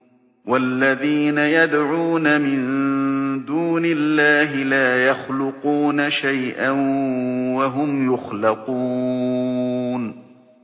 وَالَّذِينَ يَدْعُونَ مِن دُونِ اللَّهِ لَا يَخْلُقُونَ شَيْئًا وَهُمْ يُخْلَقُونَ